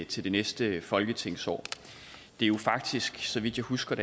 til det næste folketingsår det er jo faktisk så vidt jeg husker